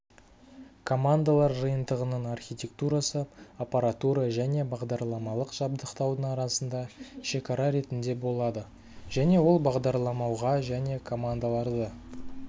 командалар жиынтығының архитектурасы аппаратура және бағдарламалық жабдықтаудың арасында шекара ретінде болады және ол бағдарламауға және командаларды